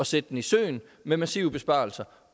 sætte den i søen med massive besparelser